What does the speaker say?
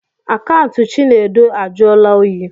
Akaụntụ Chinedu ajụọla oyi.